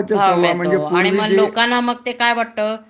भाव मिळतो आणि मग लोकांना मग ते काय वाटतं